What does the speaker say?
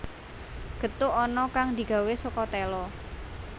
Gethuk ana kang digawé saka téla